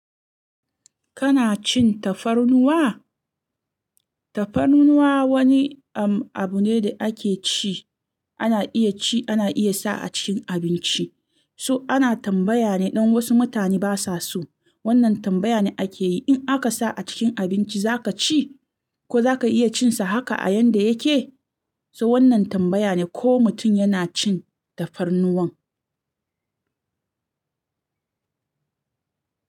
Kana cin tafarnuwa? Tafarnuwa wani am-abu ne da ake ci, ana iya ci, ana iya sa a cikin abinci. So ana tambaya ne dan wasu mutane ba sua so. Wannan tambaya ne ake yi in aka sa a cikin abinci zaka ci? Ko zaka iya cin sa haka a yanda yake? So wannan tambaya ne ko mutum yana cin tafarnuwan.